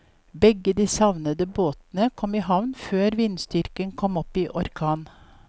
Begge de savnede båtene kom i havn før vindstyrken kom opp i orkan.